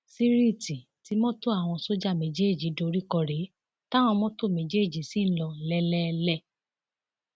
síríìtì tí mọtò àwọn sójà méjèèjì dorí kò rèé táwọn mọtò méjèèjì ṣì ń lò lélẹẹlẹ